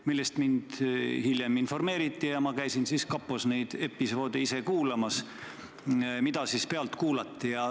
Hiljem mind sellest informeeriti ja siis ma käisin kapos neid episoode kuulamas, mida pealt kuulati.